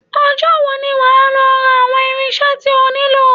Ọjọ́ wo ni wà á lọ ra àwọn irinṣẹ́ tí o nílò?